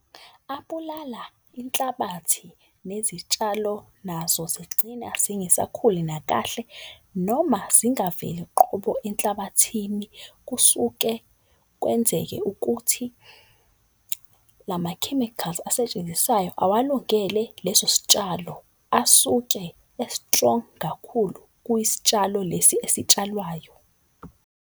Abulala inhlabathi nezitshalo nazo zigcine zingesakhuli nakahle noma zingaveli qobo enhlabathini. Kusuke kwenzeke ukuthi lama-chemicals asetshenziswayo. Awalungele leso sitshalo asuke e-strong kakhulu kwisitshalo lesi esitshalwayo.